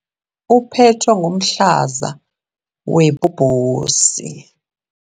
uphethwe ngumhlaza webhobhosi.